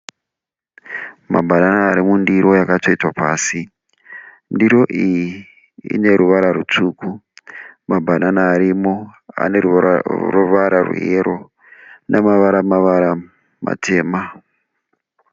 Mabhanana ari mundiro akatsvetwa pasi. Ndiro iyi ine ruvara rwutsvukU. Mabhanana arimo ane ruvara rwe yero nemavara-mavara matema.